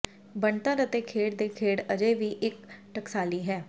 ਬਣਤਰ ਅਤੇ ਖੇਡ ਦੇ ਖੇਡ ਅਜੇ ਵੀ ਇੱਕ ਟਕਸਾਲੀ ਹੈ